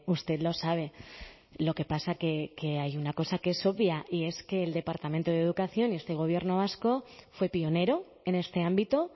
usted lo sabe lo que pasa que hay una cosa que es obvia y es que el departamento de educación y este gobierno vasco fue pionero en este ámbito